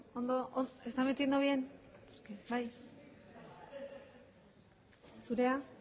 hogeita sei ez